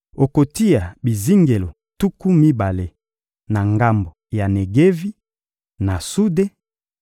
Okotia bizingelo tuku mibale na ngambo ya Negevi, na sude;